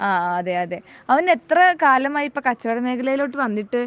ആഹ് അതെയതെ അവൻ എത്ര കാലമായി ഇപ്പോ കച്ചവട മേഖലയിലോട്ട് വന്നിട്ട്